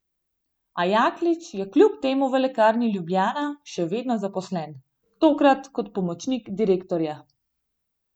A Jaklič je kljub temu v Lekarni Ljubljana še vedno zaposlen, tokrat kot pomočnik direktorja.